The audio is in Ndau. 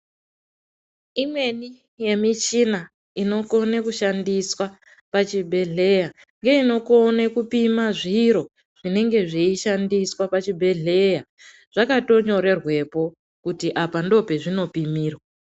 Imweni yemichina inokone kushandiswa pachibhedhleya ngeinokone kupima zviro zvinenge zveishandiswa pachibhedhleya zvakatonyorerwepo kuti apa ndopazvinopimirwa.